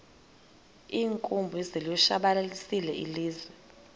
iinkumbi zilitshabalalisile ilizwe